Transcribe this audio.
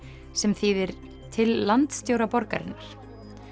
sem þýðir til landstjóra borgarinnar